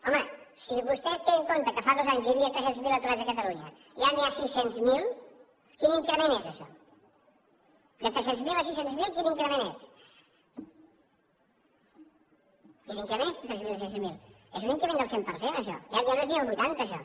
home si vostè té en compte que fa dos anys hi havia tres cents miler aturats a catalunya i ara n’hi ha sis cents miler quin increment és això de tres cents miler a sis cents miler quin increment és quin increment és de tres cents miler a sis cents miler és un increment del cent per cent això ja no és ni el vuitanta això